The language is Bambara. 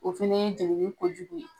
O fɛnɛ ye jeleli kojugu ye.